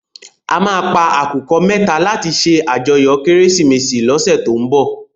À má pá àkúkò mètá làti sé àjòyò Kérésimési lòsè tó n bò